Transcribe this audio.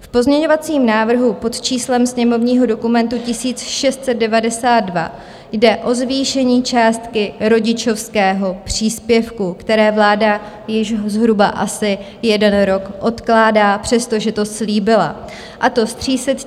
V pozměňovacím návrhu pod číslem sněmovního dokumentu 1692 jde o zvýšení částky rodičovského příspěvku, které vláda již zhruba asi jeden rok odkládá, přestože to slíbila, a to z 300 000 na 380 000 korun.